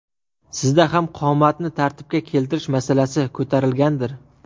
Sizda ham qomatni tartibga keltirish masalasi ko‘tarilgandir?